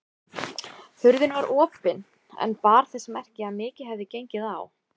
Hurðin var opin en bar þess merki að mikið hefði gengið á.